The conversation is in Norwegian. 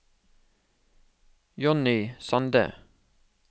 Jonny Sande